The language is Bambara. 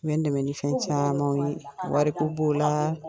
U bɛ n dɛmɛ ni fɛn caman ye . Wari ko b'o la